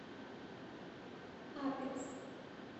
апекс